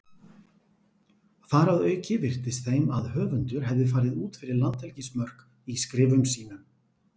Þar að auki virtist þeim að höfundur hefði farið út fyrir landhelgismörk í skrifum sínum.